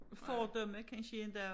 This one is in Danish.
Fordomme kansje inte